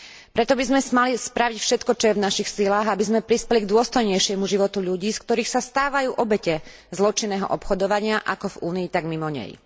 Preto by sme mali spraviť všetko, čo je v našich silách, aby sme prispeli k dôstojnejšiemu životu ľudí, z ktorých sa stávajú obete zločinného obchodovania ako v Únii, tak mimo nej.